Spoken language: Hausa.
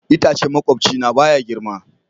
Itacen makwabcina baya girma.